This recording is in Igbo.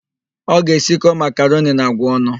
Ọ ga-esikọ makaroni na àgwà ọnụ.